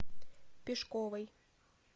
пешковой